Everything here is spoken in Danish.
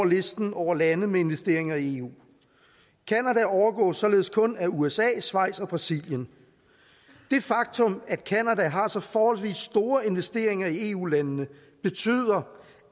listen over lande med investeringer i eu canada overgås således kun af usa schweiz og brasilien det faktum at canada har så forholdsvis store investeringer i eu landene betyder